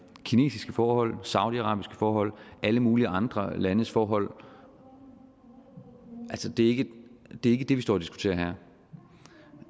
kinesiske forhold saudiarabiske forhold alle mulige andre landes forhold altså det er ikke det vi står og diskuterer